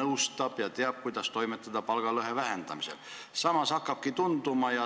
nõustab ja teab, kuidas palgalõhe vähendamisel toimetada.